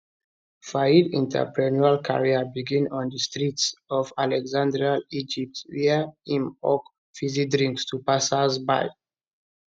fayed entrepreneurial career begin on di streets of alexandria egypt wia im hawk fizzy drinks to passersby